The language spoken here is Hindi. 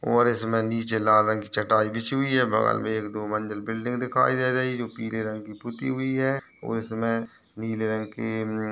और इसमें नीचे लाल रंग की चटाई बिछी हुई है। बगल में एक दो मंजिल बिल्डिंग दिखाई दे रही है जो पीले रंग की पुती हुई है और इसमें नील रंग की म्म --